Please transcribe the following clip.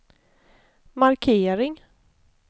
markering